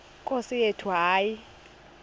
nkosi yethu hayi